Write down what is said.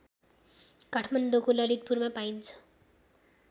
काठमाडौँको ललितपुरमा पाइन्छ